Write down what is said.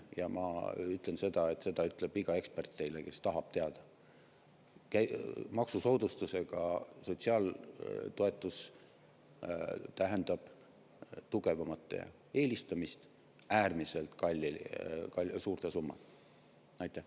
Ja ma ütlen seda – seda ütleb iga ekspert teile, kui te tahate teada –, et maksusoodustusega sotsiaaltoetus tähendab tugevamate eelistamist äärmiselt suurte summadega.